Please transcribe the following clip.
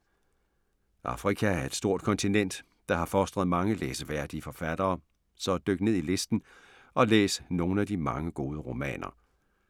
Afrika er et stort kontinent, der har fostret mange læseværdige forfattere, så dyk ned i listen og læs nogle af de mange gode romaner.